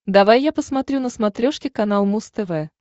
давай я посмотрю на смотрешке канал муз тв